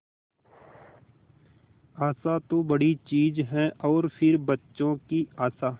आशा तो बड़ी चीज है और फिर बच्चों की आशा